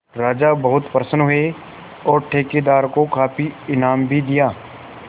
राजा बहुत प्रसन्न हुए और ठेकेदार को काफी इनाम भी दिया